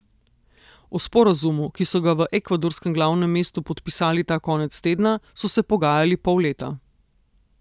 O sporazumu, ki so ga v ekvadorskem glavnem mestu podpisali ta konec tedna, so se pogajali pol leta.